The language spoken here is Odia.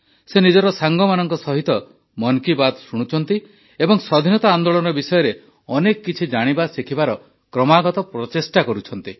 ସେ ନିଜ ସାଙ୍ଗମାନଙ୍କ ସହିତ ମନ୍ କି ବାତ୍ ଶୁଣୁଛନ୍ତି ଏବଂ ସ୍ୱାଧୀନତା ଆନ୍ଦୋଳନ ବିଷୟରେ ଅନେକ କିଛି ଜାଣିବା ଶିଖିବାର କ୍ରମାଗତ ପ୍ରଚେଷ୍ଟା କରୁଛନ୍ତି